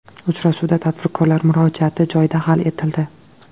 Uchrashuvda tadbirkorlar murojaati joyida hal etildi.